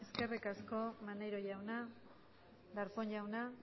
eskerrik asko maneiro jauna darpón jauna